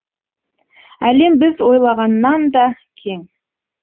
әлем біз ойлағаннан да кең